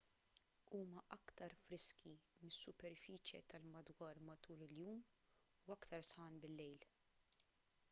huma aktar friski mis-superfiċje tal-madwar matul il-jum u aktar sħan bil-lejl